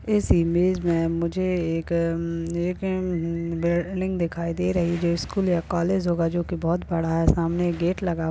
इस इमेज में मुझे एक म-म -एक म-म-म बिल्डिंग दिखाई दे रही जो स्कूल या कॉलेज होगा जो की बहोत बड़ा है सामने एक गेट लगा हुआ --